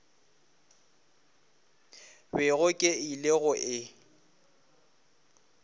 bego ke ile go e